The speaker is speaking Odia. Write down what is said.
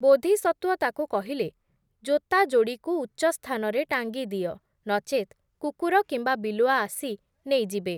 ବୋଧିସତ୍ୱ ତାକୁ କହିଲେ, ଜୋତାଯୋଡ଼ିକୁ ଉଚ୍ଚସ୍ଥାନରେ ଟାଙ୍ଗିଦିଅ, ନଚେତ୍ କୁକୁର କିମ୍ବା ବିଲୁଆ ଆସି ନେଇଯିବେ ।